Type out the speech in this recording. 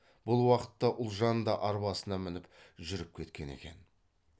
бұл уақытта ұлжан да арбасына мініп жүріп кеткен екен